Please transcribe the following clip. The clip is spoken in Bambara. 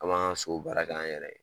An m'an sow baara k'an yɛrɛ ye